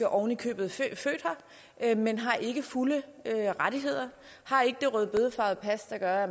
oven i købet født her men har ikke fulde rettigheder har ikke det rødbedefarvede pas der gør at